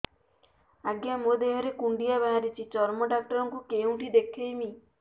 ଆଜ୍ଞା ମୋ ଦେହ ରେ କୁଣ୍ଡିଆ ବାହାରିଛି ଚର୍ମ ଡାକ୍ତର ଙ୍କୁ କେଉଁଠି ଦେଖେଇମି